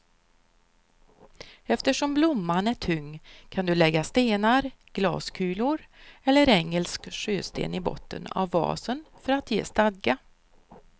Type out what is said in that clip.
Eftersom blomman är tung kan du lägga stenar, glaskulor eller engelsk sjösten i botten av vasen för att ge stadga.